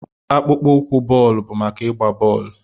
Akpụkpọ ụkwụ bọọlụ bụ maka ịgba bọọlụ.